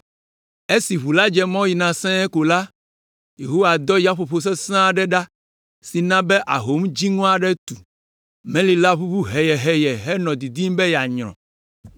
Esi ʋu la dze mɔ yina sẽe ko la, Yehowa dɔ yaƒoƒo sesẽ aɖe ɖa si na be ahom dziŋɔ aɖe tu. Meli la ʋuʋu heyeheye henɔ didim be yeanyrɔ.